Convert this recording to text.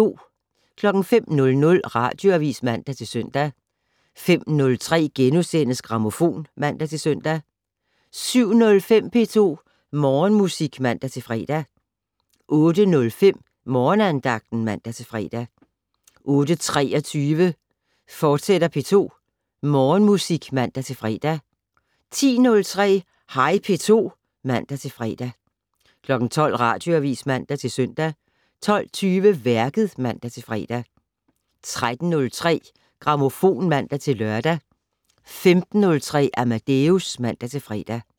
05:00: Radioavis (man-søn) 05:03: Grammofon *(man-søn) 07:05: P2 Morgenmusik (man-fre) 08:05: Morgenandagten (man-fre) 08:23: P2 Morgenmusik, fortsat (man-fre) 10:03: Hej P2 (man-fre) 12:00: Radioavis (man-søn) 12:20: Værket (man-fre) 13:03: Grammofon (man-lør) 15:03: Amadeus (man-fre)